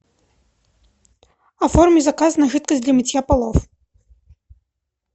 оформи заказ на жидкость для мытья полов